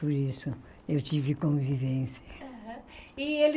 Por isso eu tive convivência. Aham e